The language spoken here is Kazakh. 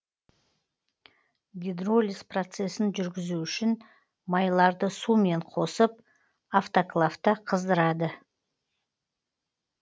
гидролиз процесін жүргізу үшін майларды сумен қосып автоклавта қыздырады